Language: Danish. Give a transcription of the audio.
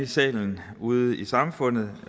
salen ude i samfundet